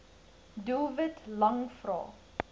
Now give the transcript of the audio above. doelwit lang vrae